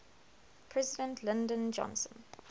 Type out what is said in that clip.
president lyndon johnson